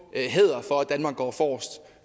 hædret for at danmark går forrest og